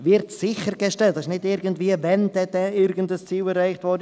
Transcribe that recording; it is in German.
– «wird sichergestellt», nicht erst, wenn dann irgendein Ziel erreicht wird.